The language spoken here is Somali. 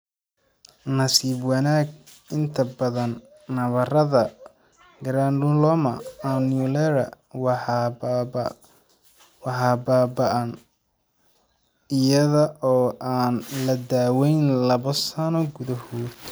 Nasiib wanaag, inta badan nabarrada granuloma annulare waxay baaba'aan iyada oo aan la daweyn laba sano gudahood.